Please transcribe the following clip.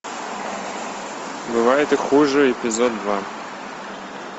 бывает и хуже эпизод два